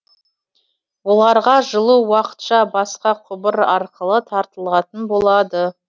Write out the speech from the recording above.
оларға жылу уақытша басқа құбыр арқылы тартылатын болады